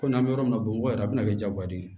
Kɔmi an bɛ yɔrɔ min na bamakɔ yɛrɛ a bɛna kɛ jago de ye